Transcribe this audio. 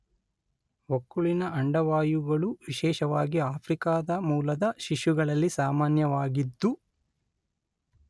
ಹೊಕ್ಕುಳಿನ ಅಂಡವಾಯುಗಳು ವಿಶೇಷವಾಗಿ ಆಫ್ರಿಕಾದ ಮೂಲದ ಶಿಶುಗಳಲ್ಲಿ ಸಾಮಾನ್ಯವಾಗಿದ್ದು